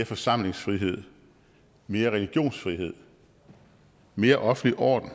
forsamlingsfrihed mere religionsfrihed mere offentlig orden